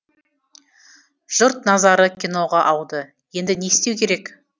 жұрт назары киноға ауды енді не істеу керек